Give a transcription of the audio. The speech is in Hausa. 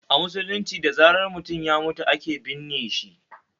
A musulunce da zaran mutum ya mutu ake binne shi